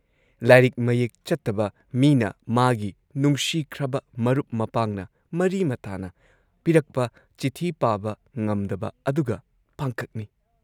ꯂꯥꯏꯔꯤꯛ ꯃꯌꯦꯛ ꯆꯠꯇꯕ ꯃꯤꯅ ꯃꯥꯒꯤ ꯅꯨꯡꯁꯤꯈ꯭ꯔꯕ ꯃꯔꯨꯞ ꯃꯄꯥꯡꯅ, ꯃꯔꯤ ꯃꯇꯥꯅ ꯄꯤꯔꯛꯄ ꯆꯤꯊꯤ ꯄꯥꯕ ꯉꯝꯗꯕ ꯑꯗꯨꯒ ꯄꯥꯡꯈꯛꯅꯤ ꯫